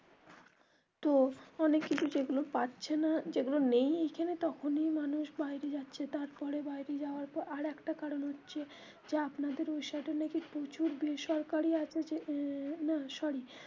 তো অনেক কিছু যেগুলো পাচ্ছে না যেগুলো নেই এখানে তখনি মানুষ বাইরে যাচ্ছে, তারপরে বাইরে যাওয়ার পর আরেকটা কারণ হচ্ছে যে আপনাদের ওই সাইডে নাকি প্রচুর বেসরকারি আছে যে না sorry.